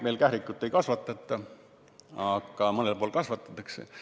Meil kährikut ei kasvatata, aga mõnel pool kasvatatakse.